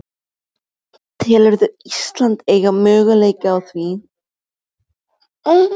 Telurðu Ísland eiga möguleika á því?